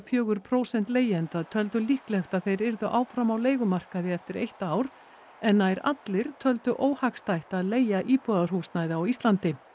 fjögur prósent leigjenda töldu líklegt að þeir yrðu áfram á leigumarkaði eftir eitt ár en nær allir töldu óhagstætt að leigja íbúðarhúsnæði á Íslandi